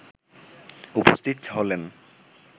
উপস্থিত হলেন।